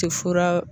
Tɛ fura